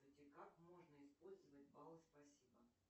как можно использовать баллы спасибо